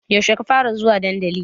Yaushe ka fara zuwa dandali?